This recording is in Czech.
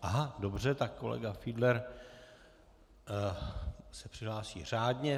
Aha, dobře, tak kolega Fiedler se přihlásí řádně.